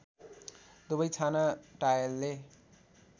दुबै छाना टायलले